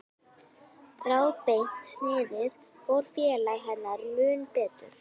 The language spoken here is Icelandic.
Þráðbeint sniðið fór félaga hennar mun betur.